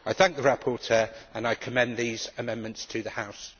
I thank the rapporteur, and I commend these amendments to the House.